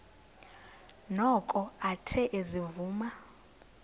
noko athe ezivuma